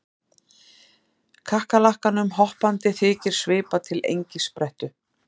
Kakkalakkanum hoppandi þykir svipa til engisprettu